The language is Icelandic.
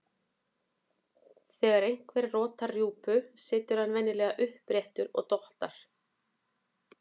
Þegar einhver rotar rjúpur situr hann venjulega uppréttur og dottar.